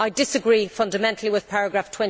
I disagree fundamentally with paragraph